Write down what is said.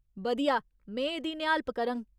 बधिया, में एह्दी निहालप करङ।